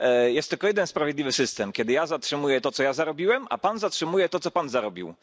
Jest tylko jeden sprawiedliwy system kiedy ja zatrzymuję to, co ja zarobiłem, a Pan zatrzymuje to, co Pan zarobił.